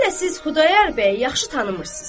Hələ siz Xudayar bəyi yaxşı tanımırsız.